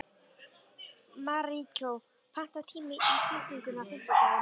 Maríkó, pantaðu tíma í klippingu á fimmtudaginn.